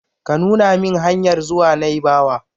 Ka nuna min hanyar zuwa naibawa!